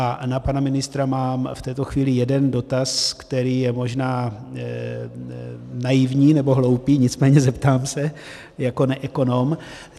A na pana ministra mám v této chvíli jeden dotaz, který je možná naivní nebo hloupý, nicméně zeptám se jako neekonom.